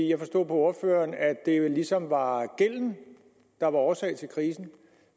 jeg forstod på ordføreren at det ligesom var gælden der var årsag til krisen